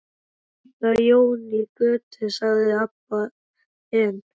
Og líka Jón í Götu, sagði Abba hin.